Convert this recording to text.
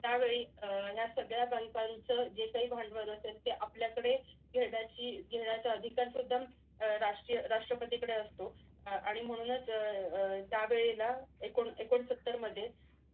त्यावेळी अह ह्या सगळ्या बालकांचा जे काही भांडवल असेल ते आपल्याकडे घेण्याची घेण्याचा अधिकार सुद्धा अह राष्ट्रीय राष्ट्रपतीकडे असतो. आणि म्हणूनच अह अह ज्या वेळेला एकूण एकोणसत्तर मध्ये